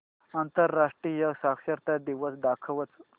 आंतरराष्ट्रीय साक्षरता दिवस दाखवच